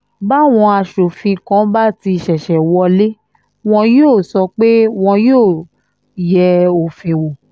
báwọn aṣòfin kan bá ti ṣẹ̀ṣẹ̀ wọlé wọn yóò sọ pé wọn yóò yẹ òfin wò